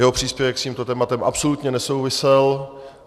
Jeho příspěvek s tímto tématem absolutně nesouvisel.